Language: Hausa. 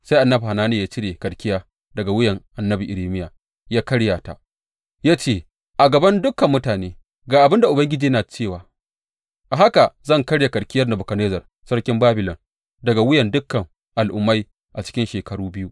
Sai annabi Hananiya ya cire karkiya daga wuyar annabi Irmiya ya karya ta, ya ce a gaban dukan mutane, Ga abin da Ubangiji yana cewa, A haka zan karya karkiyar Nebukadnezzar sarkin Babilon daga wuyan dukan al’ummai a cikin shekaru biyu.’